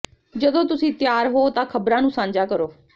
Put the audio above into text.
ਜਦੋਂ ਤੁਸੀਂ ਤਿਆਰ ਹੋ ਤਾਂ ਖ਼ਬਰਾਂ ਨੂੰ ਸਾਂਝਾ ਕਰੋ